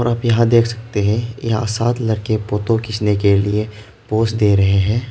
आप यहां देख सकते हैं या साथ लड़के फोटो खींचने के लिए पोस दे रहे हैं।